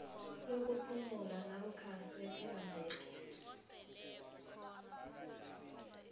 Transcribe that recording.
lokuphumula namkha lepelaveke